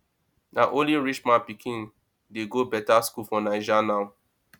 na only rich man pikin dey go better school for naija now